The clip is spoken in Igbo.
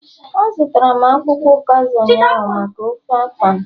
A zụtara akwukwo ukazi ụnyaahụ maka ofe afan